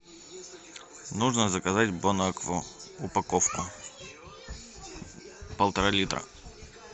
нужно заказать бонакву упаковку полтора литра